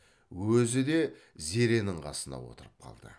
өзі де зеренің қасына отырып қалды